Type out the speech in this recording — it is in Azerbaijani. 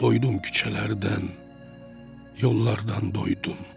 Doydum küçələrdən, yollardan doydum.